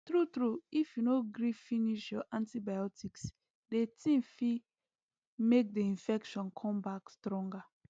true true if you no gree finish your antibiotics the thing fig make the infections come back stronger